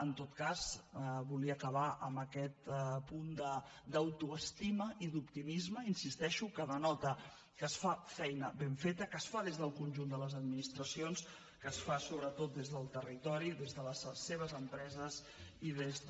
en tot cas volia acabar amb aquest punt d’autoestima i d’optimisme hi insisteixo que denota que es fa feina ben feta que es fa des del conjunt de les administracions que es fa sobretot des del territori des de les seves empreses i des de